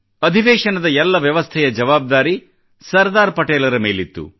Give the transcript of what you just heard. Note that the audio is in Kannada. ಅಧಿವೇಶನದ ಎಲ್ಲ ವ್ಯವಸ್ಥೆಯ ಜವಾಬ್ದಾರಿ ಸರ್ದಾರ್ ಪಟೇಲರ ಮೇಲಿತ್ತು